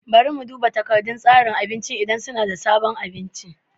Bari na duba takardar tsarin abincin idan suna da sabon abinci.